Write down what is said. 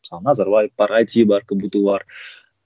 мысалы назарбаев бар айти бар кбту бар